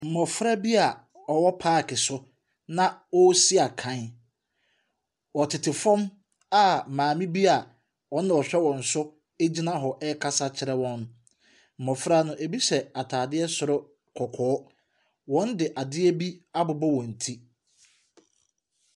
Mmɔfra bi a ɔwɔ parke so na ɔresi akan. Ɔtete fam a maame bi a ɔno na ɔhwɛ wɔn so egyina hɔ ɛkasa kyerɛ wɔn. Mmɔfra no ebi hyɛ ataadeɛ soro kɔkɔɔ. Wɔn de adeɛbi abobɔ wɔn ti.